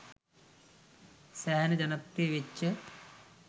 සෑහෙන ජනප්‍රිය වෙච්ච